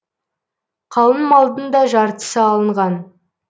қалың малдың да жартысы алынған